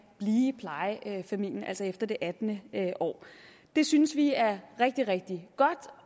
i plejefamilien altså efter det attende år det synes vi er rigtig rigtig godt